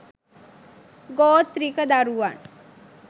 ගෝත්‍රික දරුවන්